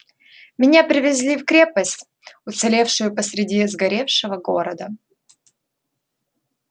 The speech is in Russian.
меня привезли в крепость уцелевшую посереди сгоревшего города